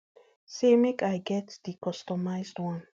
say make i make i get di customised one